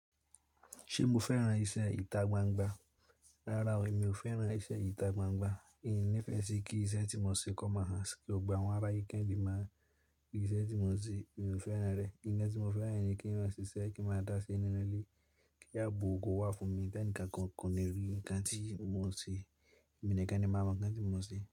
Ṣé mo fẹ́ran iṣẹ́ ìta gbangba? Rárá o, mi ò fẹ́ran iṣẹ́ ìta gbangba. Ì ni ìfẹ́ sí kí iṣẹ́ tí mo ń ṣe kó máa hàn, kí ó gba àwọn ará yíkẹ́ìǹbí máa rí iṣẹ́ tí mo ń ṣe. Mi ò fẹ́ràn rẹ̀. Ìgbà tí mo fẹ́ràn rẹ̀ ni kí wọn sì ṣẹ́ ẹ kí n máa dá se nínú ilé, kí a bo ògo wá fún mi. Tẹ́nìka kankan ni rí i kan tí mo ń ṣe, eminìkan ni máa mọ̀ kan tí mo ń ṣe.